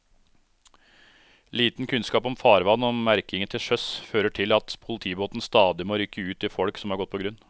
Liten kunnskap om farvann og merkingen til sjøs fører til at politibåten stadig må rykke ut til folk som har gått på grunn.